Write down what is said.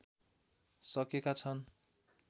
सकेका छन्